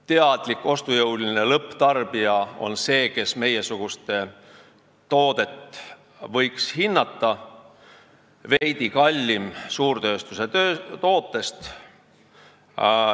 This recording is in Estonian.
Teadlik ja ostujõuline lõpptarbija on see, kes võiks hinnata meiesuguste toodet, mis on veidi kallim suurtööstuse tootest.